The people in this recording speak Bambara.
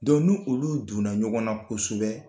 nu olu donna ɲɔgɔn na kosɛbɛ